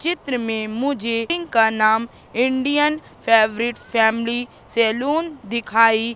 चित्र में मुझे का नाम इंडियन फेवरिट फैमिली सैलून दिखाई--